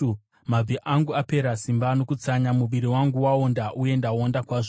Mabvi angu apera simba nokutsanya; muviri wangu waonda uye ndaonda kwazvo.